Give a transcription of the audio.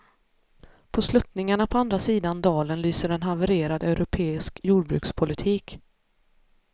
På sluttningarna på andra sidan dalen lyser en havererad europeisk jordbrukspolitik.